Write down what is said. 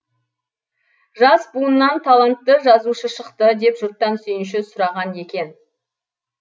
жас буыннан талантты жазушы шықты деп жұрттан сүйінші сұраған екен